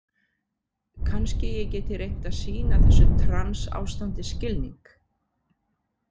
Kannski ég geti reynt að sýna þessu trans- ástandi skilning.